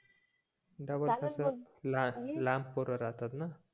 लांब पोर राहतात ना